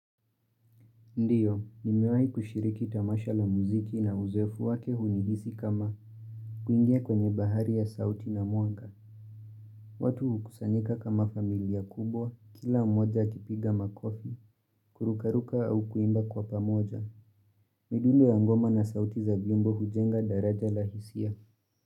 Ndiyo, nimewai kushiriki tamasha la muziki na uzeefu wake hunihisi kama kuingia kwenye bahari ya sauti na mwanga watu hukusanika kama familia kubwa, kila mmoja akipiga makofi, kurukaruka au kuimba kwa pamoja. Midulu ya ngoma na sauti za vyombo hujenga daraja la hisia.